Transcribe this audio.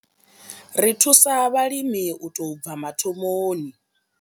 Ri thusa vhalimi u tou bva mathomoni.